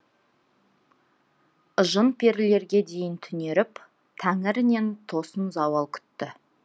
жын перілерге дейін түнеріп тәңірінен тосын зауал күтті